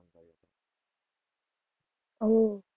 આહ